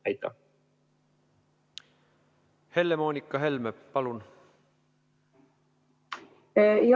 Helle-Moonika Helme, palun!